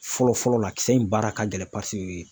Fɔlɔ fɔlɔ la kisɛ in baara ka gɛlɛn